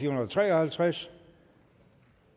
hundrede og tre og halvtreds